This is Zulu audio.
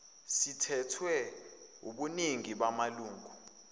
sithethwe wubuningi bamalungu